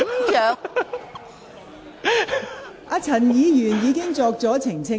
陳志全議員已作出澄清。